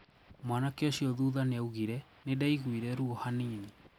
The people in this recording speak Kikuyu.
Mwanake ũcio thutha niaugire "nindaiguire ruo hanini."